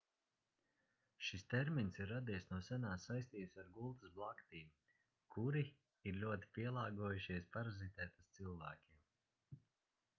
šis termins ir radies no senās saistības ar gultas blaktīm kuri ir ļoti pielāgojušies parazitēt uz cilvēkiem